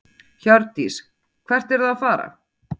Hjördís: Hvert eruð þið að fara?